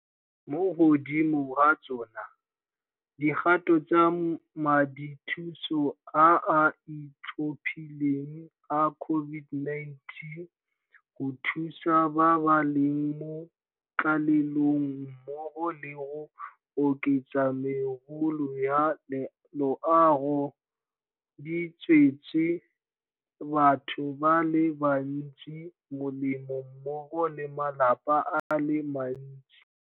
Mo godimo ga tsona, dikgato tsa Madithuso a a Itlhophileng a COVID-19 go Thusa ba ba leng mo Tlalelong mmogo le go oketsa megolo ya loago di tswetse batho ba le bantsi molemo mmogo le malapa a le mantsi.